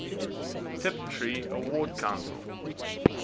tiptree award council